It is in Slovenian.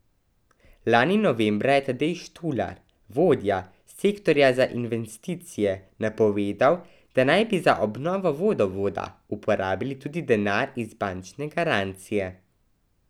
Lani novembra je Tadej Štular, vodja sektorja za investicije, napovedal, da naj bi za obnovo vodovoda uporabili tudi denar iz bančne garancije.